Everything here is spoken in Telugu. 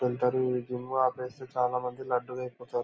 ఈ జిమ్ ఆపేసి చాలా మంది లడ్డులైపోతారు.